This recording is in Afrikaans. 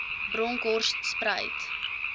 bronkhortspruit